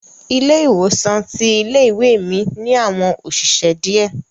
Ilé ìwòsan ti ilé ìwé mi ni àwọn òṣìṣẹ́ diẹ.